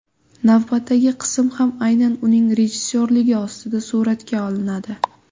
Navbatdagi qism ham aynan uning rejissyorligi ostida suratga olinadi.